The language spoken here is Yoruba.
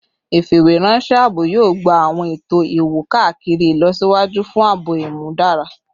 Ifiweranṣẹ aabo yoo gba awọn eto iwo-kakiri ilọsiwaju fun aabo imudara